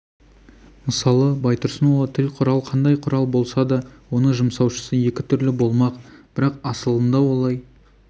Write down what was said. мысалы байтұрсынұлы тіл құрал қандай құрал болса да оны жұмсаушысы екі түрлі болмақ бірақ асылында олай